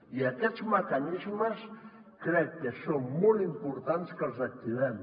i aquests mecanismes crec que és molt important que els activem